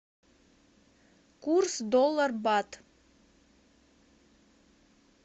курс доллар бат